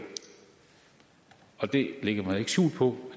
og det lægger man ikke skjul på